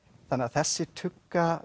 þessi tugga